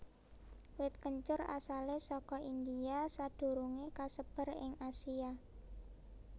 Wit kencur asalé saka India sadurungé kasebar ing Asia